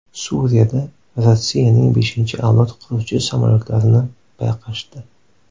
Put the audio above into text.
Suriyada Rossiyaning beshinchi avlod qiruvchi samolyotlarini payqashdi.